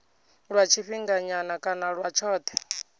lwa tshifhinganyana kana lwa tshothe